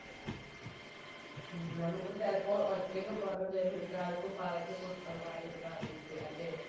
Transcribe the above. ഉം നമുക്ക് ചിലപ്പോ ഒറ്റക്ക് പറഞ് തരും ഇതാരിക്കും പറഞ്ഞു കൊടുക്കണ്ടാന്നു പറഞ്ഞിട്ട് അല്ലെ